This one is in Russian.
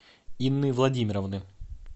инны владимировны